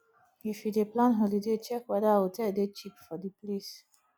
if you dey plan holiday check weda hotel dey cheap for di place